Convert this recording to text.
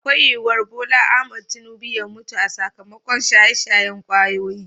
Akwai yuwar BOLA AHMED TINUBA ya mutu sakamakon shaye-shayen kwayoyi.